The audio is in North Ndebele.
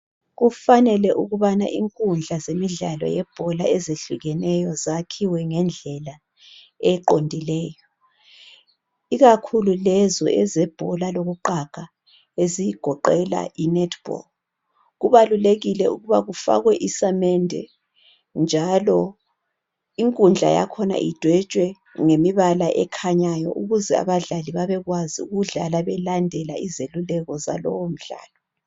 kufanele ukubana inkundla zemidlalo yebhola ehlukeneyo zakhiwe ngendlela eqondileyo ikakhulu lezo ezobhola lokuqaga ezigoqela i net ball kubalulekile ukuba kufakwe isamende njalo inkundla yakhona idwetshwe ngemibala ekhanyayo ukuze abadlali bekwazi ukudlal belandela izeluleko zalowo mdlalo